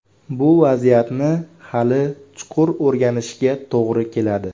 Bu vaziyatni hali chuqur o‘rganishga to‘g‘ri keladi.